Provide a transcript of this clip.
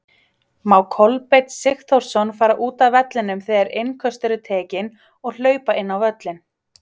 Má Kolbeinn Sigþórsson fara útaf vellinum þegar innköst eru tekinn og hlaupa inn á völlinn?